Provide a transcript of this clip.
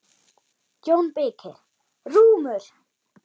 JÓN BEYKIR: Rúmur!